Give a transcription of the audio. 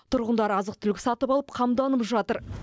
тұрғындары азық түлік сатып алып қамданып жатыр